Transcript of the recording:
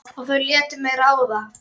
Og þau létu mig ráða.